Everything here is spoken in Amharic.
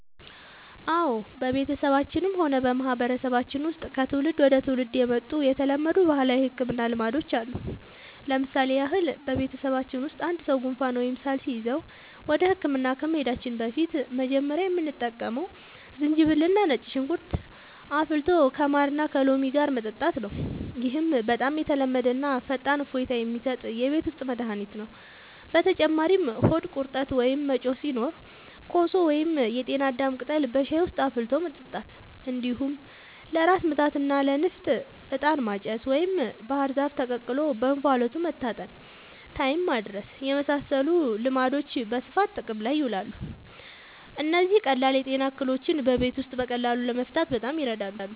አዎ፣ በቤተሰባችንም ሆነ በማህበረሰባችን ውስጥ ከትውልድ ወደ ትውልድ የመጡ የተለመዱ ባህላዊ የሕክምና ልማዶች አሉ። ለምሳሌ ያህል፣ በቤተሰባችን ውስጥ አንድ ሰው ጉንፋን ወይም ሳል ሲይዘው ወደ ሕክምና ከመሄዳችን በፊት መጀመሪያ የምንጠቀመው ዝንጅብልና ነጭ ሽንኩርት አፍልቶ ከማርና ከሎሚ ጋር መጠጣት ነው። ይህ በጣም የተለመደና ፈጣን እፎይታ የሚሰጥ የቤት ውስጥ መድኃኒት ነው። በተጨማሪም ሆድ ቁርጠት ወይም መጮህ ሲኖር ኮሶ ወይም የጤና አዳም ቅጠል በሻይ ውስጥ አፍልቶ መጠጣት፣ እንዲሁም ለራስ ምታትና ለንፍጥ «ዕጣን ማጨስ» ወይም ባህር ዛፍ ተቀቅሎ በእንፋሎት መታጠንን (ታይም ማድረስ) የመሳሰሉ ልማዶች በስፋት ጥቅም ላይ ይውላሉ። እነዚህ ቀላል የጤና እክሎችን በቤት ውስጥ በቀላሉ ለመፍታት በጣም ይረዳሉ።